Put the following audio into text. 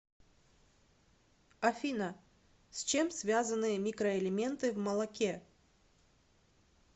афина с чем связаны микроэлементы в молоке